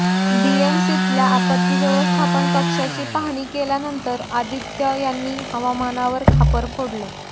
बीएमसीतल्या आपत्ती व्यवस्थापन कक्षाची पाहणी केल्यानंतर आदित्य यांनी हवामानावर खापर फोडलं